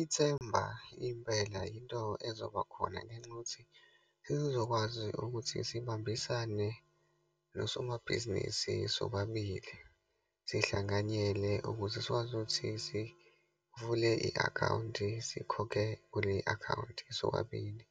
Ithemba, impela yinto ezoba khona ngenxa yokuthi sesizokwazi ukuthi sibambisane nosomabhizinisi sobabili, sihlanganyele ukuze sikwazi ukuthi sivule i-akhawunti, sikhokhe kule akhawunti sobabili.